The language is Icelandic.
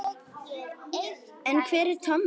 En hver er Tommi?